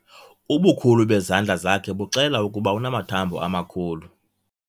Ubukhulu bezandla zakhe buxela ukuba unamathambo amakhulu.